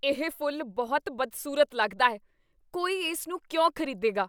ਇਹ ਫੁੱਲ ਬਹੁਤ ਬਦਸੂਰਤ ਲੱਗਦਾ ਹੈ। ਕੋਈ ਇਸ ਨੂੰ ਕਿਉਂ ਖ਼ਰੀਦੇਗਾ?